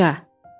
Yumruca.